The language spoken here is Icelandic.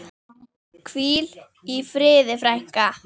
Hvíl í friði, frænka.